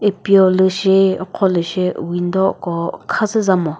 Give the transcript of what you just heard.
upiolü shi ukhrolü shi window ko khazü bamo.